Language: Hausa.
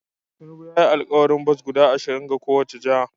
Tinubu ya yi alkawarin bas guda ashirin ga kowace jiha